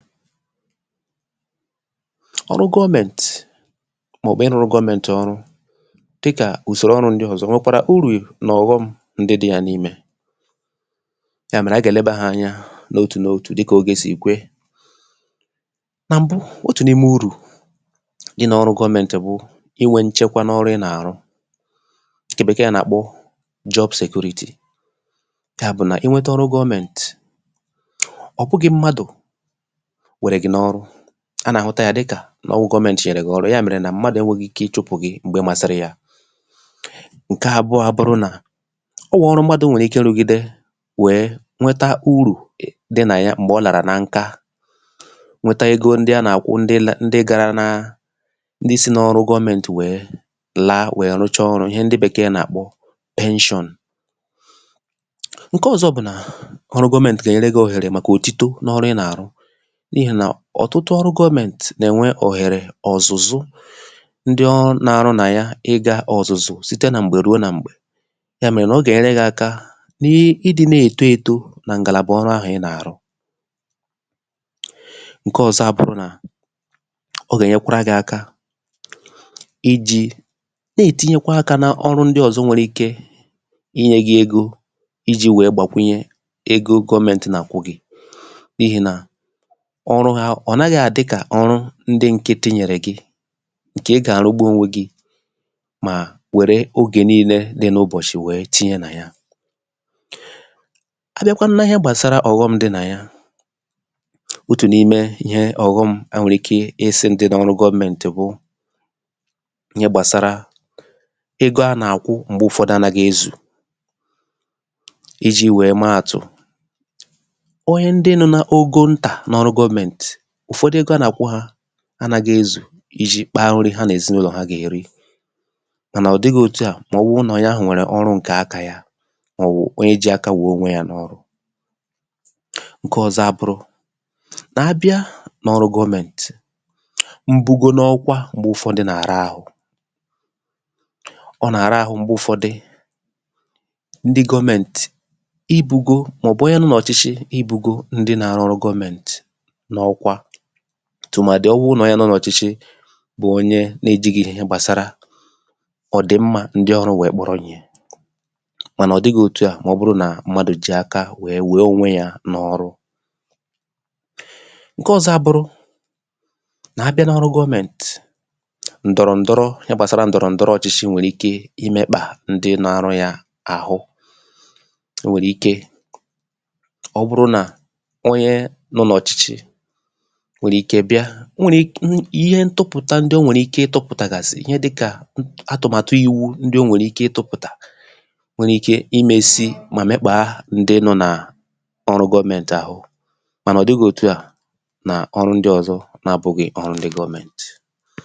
ọrụ gọmẹ̄ntị̀, mà ọ̀ bụ ịrụrụ gọmẹntị̀ ọrụ dịkà usòrò ọrụ̄ ndị ọ̀zọ nwẹkwàrà urù na ọ̀ghọm ndị dị ya n’imē, yà mẹ̀rẹ anyị gà ẹ̀lẹbā ha anya n’otù n;otù dịkà ogē sì kwe. nà m̀bụ, otù n’ime urù dị n’ọrụ gọmẹ̀ntị̀ wụ ịnwẹ nchẹkwa na ọrụ ị na àrụ ǹkẹ̀ Bẹ̀kẹẹ nà àkpọ job security. yà bụ̀ nà ịnwẹtẹ ọrụ gọmẹ̄ntị̀, ọ̀ bụghị mmadù wẹrẹ̀ gị̀ n’ọrụ a nà àhụta ya dịkà nà ọ wụ gọmẹntị̀ nyẹ̀rẹ̀ gị̀ ọrụ yà mẹ̀rẹ̀ nà mmadù ẹnwẹghị ike ị chụpụ̀ gị m̀gbe masịrị ya. ǹkẹ abụa bụrụ nà o nwè ọrụ mmadū nwẹ̀rẹ ike irùgide wẹ̀ẹ nwẹta urù dị nà ya m̀gbẹ̀ ọ làrà na nka nwẹta ego ndị a nà àkwụ ndị la ndị gara na ndị sị n’ọrụ gọmẹntị̀ wẹ̀ẹ la wẹ rụcha ọrụ̄, ihẹ Bẹ̀kẹ̀ nà àkpọ pension. ǹkẹ ọzọ bụ̀ nà ọrụ gọmẹntị̀ gà ẹ̀nyẹrẹ gi òhèrè màkà òtito n’ọrụ ị nà àrụ, n’ihì nà ọ̀tụtụ ọrụ gọmẹntị̀ nà ẹ̀nwẹ ọ̀hẹ̀rẹ̀ ọ̀zụ̀zụ ndị ọrụ na arụ nà y aị ịgā ọ̀zụ̀zụ site nà m̀gbè ruo nà m̀gbè. yà mẹ̀rẹ̀ nà ọ gà ẹ̀nyẹrẹ gị aka na ịdị nà èto eto nà ǹgàla ọrụ ahụ̀ ị nà àrụ. ǹkẹ ọzọ a bụrụ nà ọ gà ẹ̀nyẹkwara gị aka ijī nà ètinyekwa akā na ọrụ ndị ọ̀zọ nwẹrẹ ike ịnyẹ gị ego ijī wẹ̀ẹ gbàkwụnyẹ ego gọmẹ̀ntị nà àkwụ gị. n’ihì nà ọrụ ha, ọ̀ naghị àdị kà ọrụ ndị nkịtị nyẹ̀rẹ̀ gị ǹkẹ̀ ị gà àrugbu onwe gi mà wẹ̀rẹ ogè nillẹ dị n’ụbọ̀chị̀ we tinye nà ya. abịakwanụ nà ịhẹ gbàsara ọ̀ghọm dị nà ya, otù n’ime ịhẹ ọ̀ghọm a nwẹ̀rẹ̀ ike ịsị̄ dị n’ọrụ gọmẹntị̀ bụ ịhẹ gbàsara ego a nà àkwụ m̀gbẹ ụfọdụ anaghị ezù, ijī wẹ ma àtụ̀. onye ndị nọ na ogo ntà n’ọrụ gọmẹntị̀, ụ̀fọdụ ego a nà àkwụ hā anaghị ezù I jī kpa nri ha nà èzịnụlọ ha gà èri. mànà ọ̀ dịghị otua mà ọ bụ nà onye ahụ̀ nwẹ̀rẹ ọrụ ǹkẹ akā ya, mà ọ̀ wụ̀ onye ji aka ya wẹ̀ẹ onwe ya n’ọrụ. ǹkẹ ọzọ a bụrụ nà abịa n’ọrụ gọmẹntị̀, mbugo n’ọkwa m̀gbẹ ụfọdụ nà àra ahụ ọ nà àra ahụ m̀gbẹ ụfọdị, ndị gomenti ibugo bugō mà ọ̀ bụ̀ onye nọ nà ọ̀chịchị I bugō ndị na arụrụ gọmẹntị̀ n’ọkwa, tụ̀màdị nà ọ wụ nà onye nọ nà ọ̀chịchị bụ̀ ọnyẹ na ejighi ịhẹ gbàsara mmā ndị ọrụ̄ wẹ̀ẹ kpọrọ ịhẹ̄ mànà ọ̀ dighi òtu à mà ọ bụ nà mmadù ji aka wẹ wẹ onwe ya n’ọrụ. ǹkẹ ọzọ a bụrụ nà abịa n’ọrụ gọmẹ̄ntị̀, ndọ̀rọ̀ ǹdọrọ ịhẹ gbàsara ǹdọrọ ǹdọrọ ọchịchị nwẹ̀rẹ̀ ike ịmẹ̄kpà ndị na arụ ya àhụ. o nwèrè ike, ọ bụrụ nà ọnyẹ nọ nà ọ̀chịchị nwèrè ike bịa, o nwèrè ihe ntụpụ̀ta ndị ọ nwẹ̀rẹ̀ ike ịtụ̄pụ̀tàgàsị̀ ihe dịkà atụ̀màtụ iwu ndị o nwèrè ike ị tụpụ̀tà nwẹrẹ ike I mesi mà mẹkpàa ndị nọ nà ọrụ gọmẹntị̀ ahụ̀, mànà ọ̀ dighī òtu à nà ọrụ ndị ọ̀zọ na abụghị gọmẹntị̀